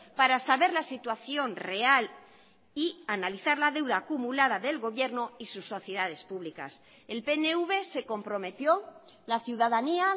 para saber la situación real y analizar la deuda acumulada del gobierno y sus sociedades públicas el pnv se comprometió la ciudadanía